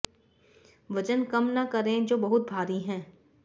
वजन कम न करें जो बहुत भारी है